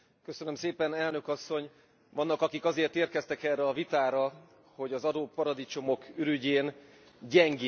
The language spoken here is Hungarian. Vannak akik azért érkeztek erre a vitára, hogy az adóparadicsomok ürügyén gyengébb Európát követeljenek.